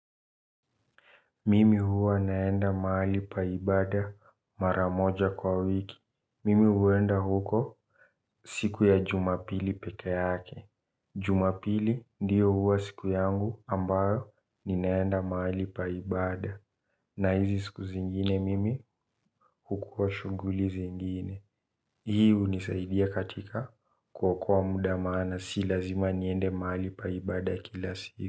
Mimi huwa naenda mahali pa ibaada mara moja kwa wiki. Mimi huenda huko siku ya jumapili peke yake. Jumapili ndio huwa siku yangu ambayo ni naenda mahali pa ibaada. Na hizi siku zingine mimi hukua shughuli zingine. Hii hunisaidia katika kuokoa muda maana si lazima niende mahali pa ibaada kila siku.